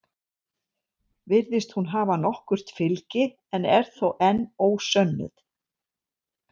Virðist hún hafa nokkurt fylgi en er þó enn ósönnuð.